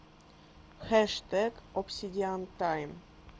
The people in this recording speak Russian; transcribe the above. хэштег обсидиан тайм